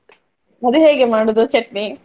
ಅದು ಹೇಗೆ ಮಾಡುದು ಚಟ್ನಿ?